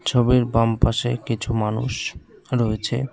ছবির বামপাশে কিছু মানুষ রয়েছে।